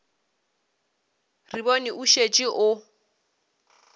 re bone o šetše o